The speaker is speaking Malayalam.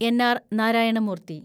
എൻ. ആർ. നാരായണ മൂർത്തി